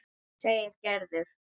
segir Gerður.